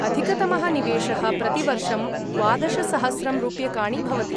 अधिकतमः निवेशः प्रतिवर्षं द्वादशसहस्रं रूप्यकाणि भवति।